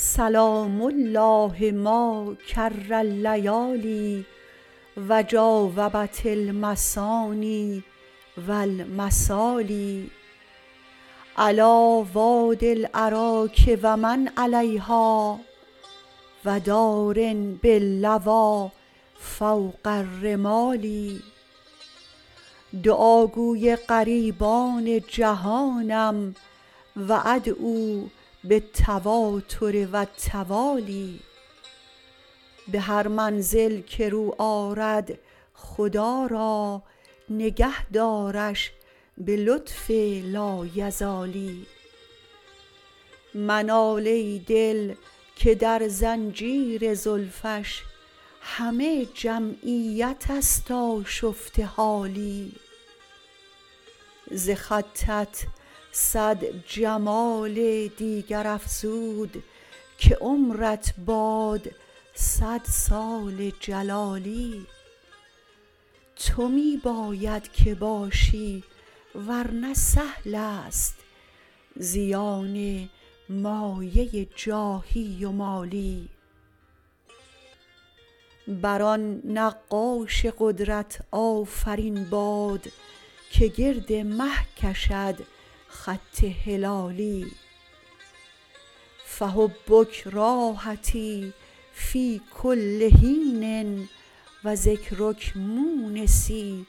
سلام الله ما کر اللیالی و جاوبت المثاني و المثالي علیٰ وادي الأراک و من علیها و دار باللویٰ فوق الرمال دعاگوی غریبان جهانم و أدعو بالتواتر و التوالي به هر منزل که رو آرد خدا را نگه دارش به لطف لایزالی منال ای دل که در زنجیر زلفش همه جمعیت است آشفته حالی ز خطت صد جمال دیگر افزود که عمرت باد صد سال جلالی تو می باید که باشی ور نه سهل است زیان مایه جاهی و مالی بر آن نقاش قدرت آفرین باد که گرد مه کشد خط هلالی فحبک راحتی فی کل حین و ذکرک مونسی